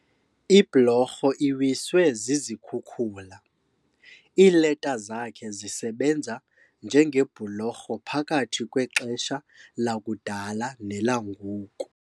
Iblorho iwiswe zizikhukula. iileta zakhe zisebenza njengebhulorho phakathi kwexesha lakudala nelangoku